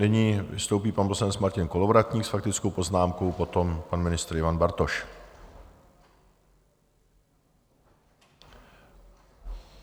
Nyní vystoupí pan poslanec Martin Kolovratník s faktickou poznámkou, potom pan ministr Ivan Bartoš.